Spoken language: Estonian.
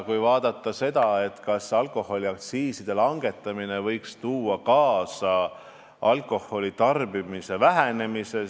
Vaatame seda, kas alkoholiaktsiiside langetamine võiks tuua kaasa alkoholitarbimise vähenemise.